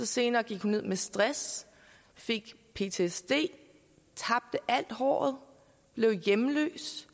senere gik hun ned med stress fik ptsd tabte alt håret og blev hjemløs